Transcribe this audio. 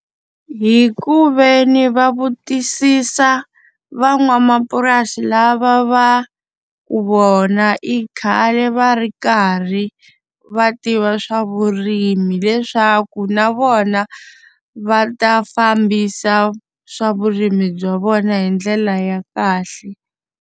Hi ku ve ni va vutisisa van'wamapurasi lava va ku vona i khale va ri karhi va tiva swa vurimi leswaku na vona va ta fambisa swa vurimi bya vona hi ndlela ya kahle.